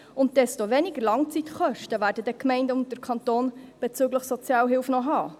Und umso weniger Langzeitkosten werden dann die Gemeinden und der Kanton bezüglich Sozialhilfe noch haben.